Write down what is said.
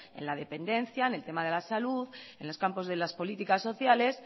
en la dependencia en el tema de la salud en los campos de las políticas sociales